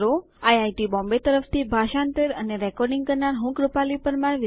IIT Bombay તરફથી ભાષાંતર કરનાર હું છું કૃપાલી પરમાર